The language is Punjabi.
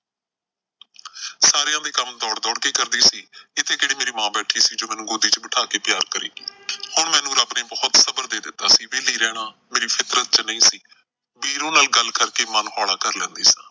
ਸਾਰਿਆਂ ਦੇ ਕੰਮ ਦੌੜ ਦੌੜ ਕੇ ਕਰਦੀ ਸੀ। ਇੱਥੇ ਕਿਹੜਾ ਮੇਰੀ ਮਾਂ ਬੈਠੀ ਸੀ ਜੋ ਮੈਨੂੰ ਗੋਦੀ ਚ ਬਿਠਾ ਕੇ ਪਿਆਰ ਕਰੇ ਹੁਣ ਮੈਨੂੰ ਰੱਬ ਨੇ ਬਹੁਤ ਸਬਰ ਦੇ ਦਿੱਤਾ ਸੀ। ਵਿਹਲੀ ਰਹਿਣਾ ਮੇਰੀ ਫ਼ਿਤਰਤ ਚ ਨਈਂ ਸੀ। ਵੀਰੋ ਨਾਲ ਗੱਲ ਕਰਕੇ ਮਨ ਹੋਲਾ ਕਰ ਲੈਂਦੀ ਸਾਂ।